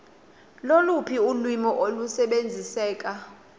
loluphi ulwimi olusebenziseka